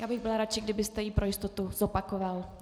Já bych byl radši, kdybyste ji pro jistotu zopakoval.